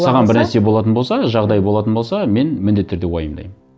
саған бір нәрсе болатын болса жағдай болатын болса мен міндетті түрде уайымдаймын